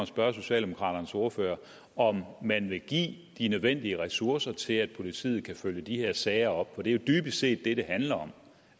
spørge socialdemokraternes ordfører om man vil give de nødvendige ressourcer til at politiet kan følge de her sager op for det er jo dybest set det det handler om